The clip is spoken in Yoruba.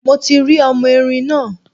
Mo ti rí ọmọ erin náà.